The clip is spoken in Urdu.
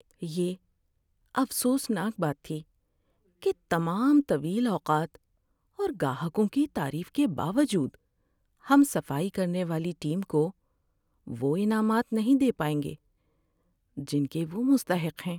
یہ افسوسناک بات تھی کہ تمام طویل اوقات اور گاہکوں کی تعریف کے باوجود ہم صفائی کرنے والی ٹیم کو وہ انعامات نہیں دے پائیں گے جن کے وہ مستحق ہیں۔